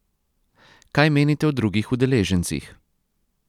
Kaj menite o drugih udeležencih?